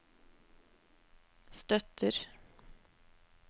støtter